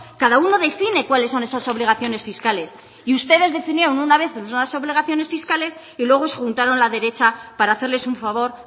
cada uno define cuáles son esas obligaciones fiscales y ustedes definieron una vez unas obligaciones fiscales y luego se juntaron la derecha para hacerles un favor